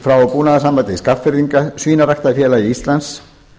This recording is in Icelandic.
frá búnaðarsamband skagfirðinga og svínaræktarfélagi íslands